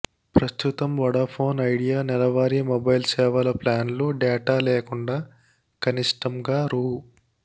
ప్రస్తుతం Vodafone Idea నెలవారీ mobile సేవల ప్లాన్లు డేటా లేకుండా కనిష్టంగా రూ